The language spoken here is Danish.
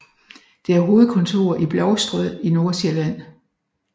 Det har hovedkontor i Blovstrød i Nordsjælland